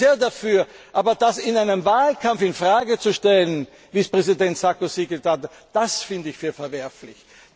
Ich bin sehr dafür, aber das in einem Wahlkampf in Frage zu stellen, wie es Präsident Sarkozy getan hat, finde ich verwerflich.